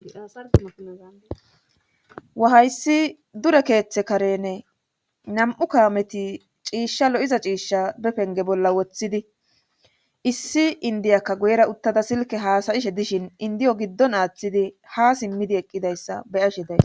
Aawa hayssi dure keeththe karenne nam7u kaameti ciishsha lo7iza ciishsha be penge bolla woththidi issi indiyakka guyera uttada silke haasayishe dishin indiyo giddon aaththidi ha simmidi eqqidayssa beyashe days.